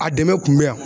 A dɛmɛ kun bɛ yan